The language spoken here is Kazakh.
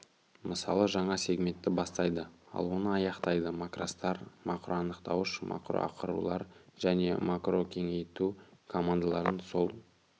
мысалы жаңа сегментті бастайды ал оны аяқтайды макростар макроанықтауыш макрошақырулар және макрокеңейту командалардың сол